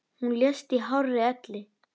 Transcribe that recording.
Hún lést í hárri elli.